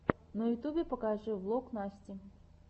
в ютюбе покажи влог насти